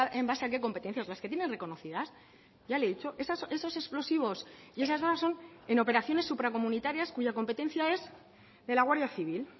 en base a qué competencias las que tienen reconocidas ya le he dicho esos explosivos y esas son en operaciones supracomunitarias cuya competencia es de la guardia civil